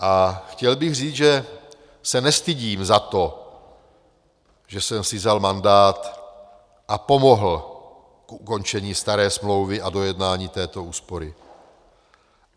A chtěl bych říct, že se nestydím za to, že jsem si vzal mandát a pomohl k ukončení staré smlouvy a dojednání této úspory.